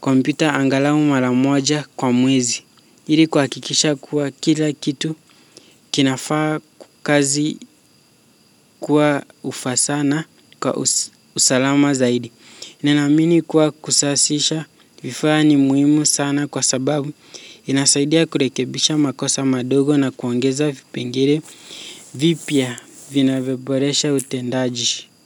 kompyuta angalau mara moja kwa mwezi ili kuhakikisha kuwa kila kitu kinafaa kazi. Kuwa ufasaha na kwa usalama zaidi. Ninaamini kuwa kusasisha vifaa ni muhimu sana kwa sababu inasaidia kurekebisha makosa madogo na kuongeza vipengele vipya vinavyoboresha utendaji.